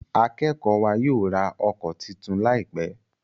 Akékòó wa yóò rá òko títún láìpé.